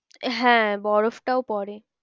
হ্যাঁ বরফটাও পড়ে।